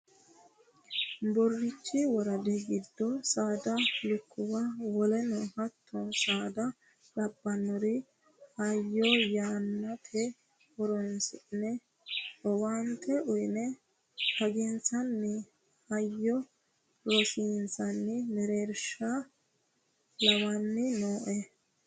Borichi woradi giddo saada lukkuwa woleno hatto saada labbinore hayyo yannata horonsi'ne owaante uyinanni xaginsanni hayyo ronsanni mereersha lawani nooe